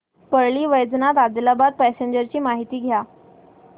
Parli Vaijnath Adilabad passenger ची माहिती द्या